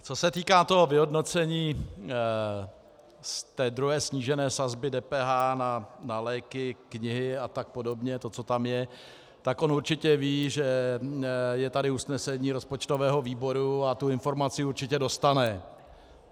Co se týká toho vyhodnocení z druhé snížené sazby DPH na léky, knihy a tak podobně, to, co tam je, tak on určitě ví, že je tady usnesení rozpočtového výboru a tu informaci určitě dostane.